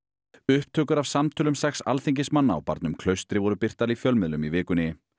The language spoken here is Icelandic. upptökur af samtölum sex alþingismanna á barnum Klaustri voru birtar í fjölmiðlum í vikunni